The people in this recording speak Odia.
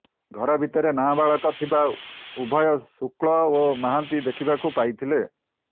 ଘର ଭିତରେ ନାବାଳକ ଥିବା ଉଭୟ ଶୁକ୍ଳ ଓ ମହାନ୍ତି ଦେଖିବାକୁ ପାଇଥିଲେ